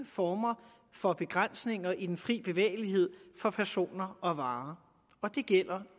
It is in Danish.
former for begrænsninger i den frie bevægelighed for personer og varer og det gælder